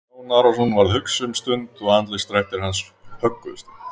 Jón Arason varð hugsi um stund og andlitsdrættir hans högguðust ekki.